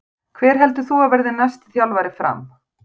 Hver heldur þú að verði næsti þjálfari FRAM?